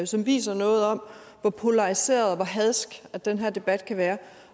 som viser noget om hvor polariseret og hvor hadsk den her debat kan være